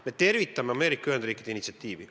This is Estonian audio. Me tervitame Ameerika Ühendriikide initsiatiivi.